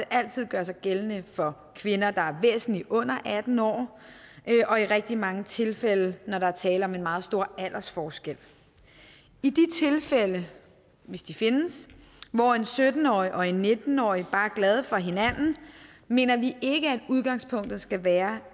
altid gøre sig gældende for kvinder der er væsentlig under atten år og i rigtig mange tilfælde når der er tale om en meget stor aldersforskel i de tilfælde hvis de findes hvor en sytten årig og en nitten årig bare er glade for hinanden mener vi at udgangspunktet stadig skal være